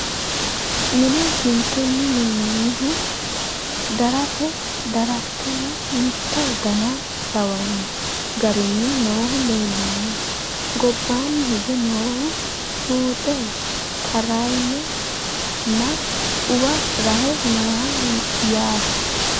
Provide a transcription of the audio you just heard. Mine kinchchunni minoonnihu daratte daratteho mitto danna lawanno garinni noohu leelanno. Gobbanni hige noohu huxxu xarayiho nna uwa Rahe nooho yaatte